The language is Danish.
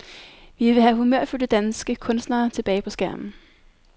Vi vil have humørfyldte danske kunstnere tilbage på skærmen.